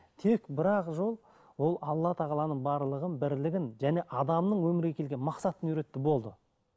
тек бір ақ жол ол алла тағаланың барлығын бірлігін және адамның өмірге келген мақсатын үйретті болды